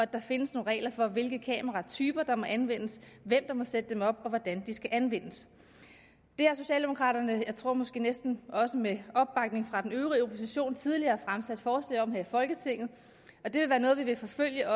der findes nogle regler for hvilke kameratyper der må anvendes hvem der må sætte dem op og hvordan de skal anvendes det har socialdemokraterne jeg tror måske næsten også med opbakning fra den øvrige opposition tidligere fremsat forslag om her i folketinget og det vil være noget vi vil forfølge